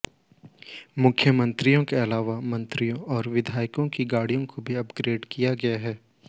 मुख्यमंत्री के अलावा मंत्रियों और विधायकों की गाड़ियों को भी अपग्रेड किया गया है